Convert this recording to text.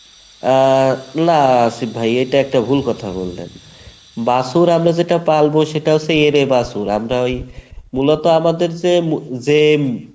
আহ না আসিফ ভাই এটা একটা ভুল কথা বললেন , বাছুর আমরা যেটা পালবো সেটা হচ্ছে এঁড়ে বাছুর আমরা ওই মূলত আমাদের যে